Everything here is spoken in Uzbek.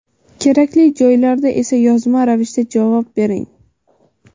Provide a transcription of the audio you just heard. kerakli joylarda esa yozma ravishda javob bering.